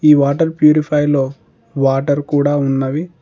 ఈ water purifier లో water కూడా ఉన్నవి.